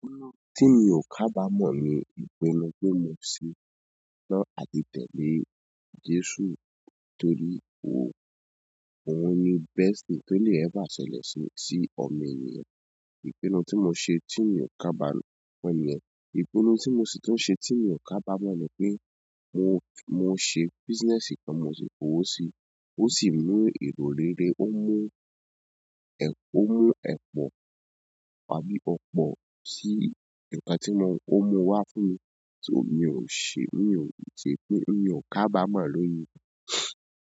Nínú ohùn tí mio kabamọ ni ipinu pé mo setan láti tẹle Jésù torí ó, òun ni bẹst thing to le ever ṣẹlẹ̀ sí, sí ọmọ ènìyàn. Ìpinnu tí mo ṣe tí mi ò kábàámọ̀ ni, ìpinnu tí mo sì tún ṣe tí mi ò kábàámọ̀ ni pé mo, mo ṣe business kan mo sì kowo sí i, ó sì mú èrò rere, ó mú ẹ̀, ó mú ẹ̀pọ̀ wá bí ọ̀pọ̀ sí ìgbà tí mo, ó mú wá fún mi tí mi ò ṣe, mi ò ṣe, mi ò kábàámọ̀ lónìí.